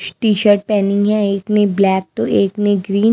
T-shirt पहनी है एक ने ब्लैक तो एक ने ग्रीन --